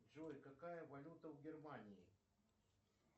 джой какая валюта в германии